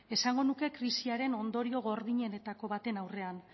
esango nuke krisiaren ondorio gordinenetako baten aurrean